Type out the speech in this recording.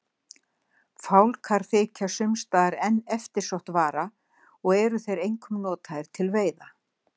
Fálkar þykja sums staðar enn eftirsótt vara og eru þeir einkum notaðir til veiða.